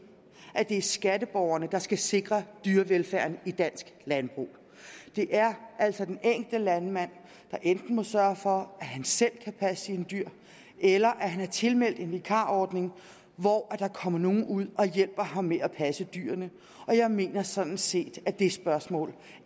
er skatteborgerne der skal sikre dyrevelfærden i dansk landbrug det er altså den enkelte landmand der enten må sørge for at han selv kan passe sine dyr eller at han er tilmeldt en vikarordning hvor der kommer nogen ud og hjælper ham med at passe dyrene og jeg mener sådan set at det spørgsmål